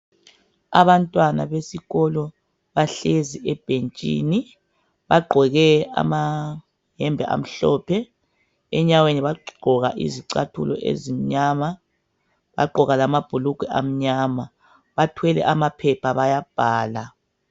Abantwana besikolo bahlezi ebhentshini. Bagqoke amayembe amhlophe, enyaweni bagqoka izicathulo ezimnyama, bagqoka lamabhulugwe amnyama. Bathwele amaphepha bayabhala.